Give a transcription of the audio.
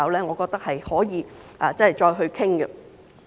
我認為可以再作討論。